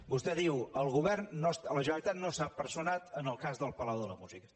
vostè diu la generalitat no s’ha personat en el cas del palau de la música